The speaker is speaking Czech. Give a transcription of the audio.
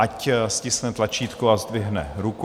Ať stiskne tlačítko a zdvihne ruku.